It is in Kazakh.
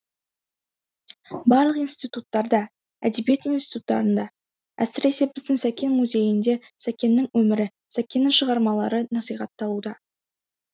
барлық институттарда әдебиет институттарында әсіресе біздің сәкен музейінде сәкеннің өмірі сәкеннің шығармалары насихатталуда